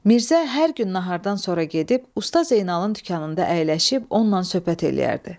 Mirzə hər gün nahardan sonra gedib usta Zeynalın dükanında əyləşib onunla söhbət eləyərdi.